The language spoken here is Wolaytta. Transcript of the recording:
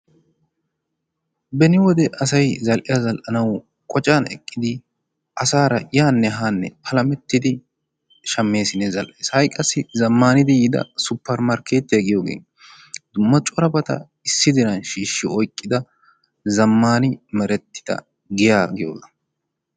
Beni wode asayi zall"iya zall"anawu qocan eqqidi asaara yaanne haanne palamettidi shammeesinne zall"es. Ha"i qassi zammaanidi yiida super markkeette giyiyoge dumma corabata issisan shiishshi oyqqida zammaani merettida giyaa giyoga.